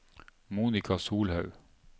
Monika Solhaug